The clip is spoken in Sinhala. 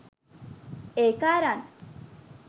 ඒක අරං